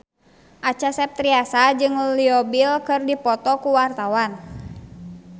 Acha Septriasa jeung Leo Bill keur dipoto ku wartawan